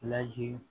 Laji